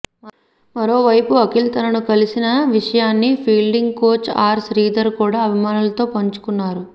మరోవైపు అఖిల్ తనను కలిసిన విషయాన్ని ఫీల్డింగ్ కోచ్ ఆర్ శ్రీధర్ కూడా అభిమానులతో పంచుకున్నారు